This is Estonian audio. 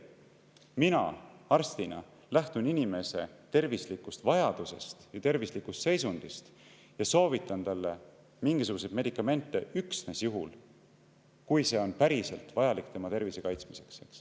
Mina arstina lähtun inimese tervislikust vajadusest või tervislikust seisundist ja soovitan talle mingisuguseid medikamente üksnes juhul, kui see on päriselt vajalik tema tervise kaitsmiseks.